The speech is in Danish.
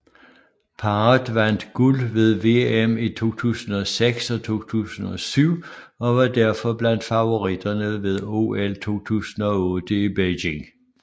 Parret vandt guld ved VM i 2006 og 2007 og var derfor blandt favoritterne ved OL 2008 i Beijing